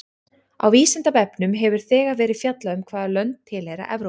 Á Vísindavefnum hefur þegar verið fjallað um hvaða lönd tilheyra Evrópu.